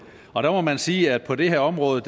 og der må man sige at på det område